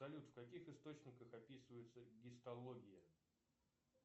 салют в каких источниках описывается гистология